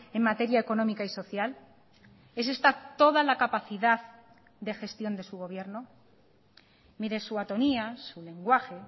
en materia económica y social es esta toda la capacidad de gestión de su gobierno mire su atonía su lenguaje